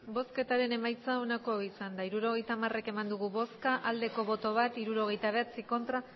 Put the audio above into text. hirurogeita hamar eman dugu bozka bat bai hirurogeita bederatzi ez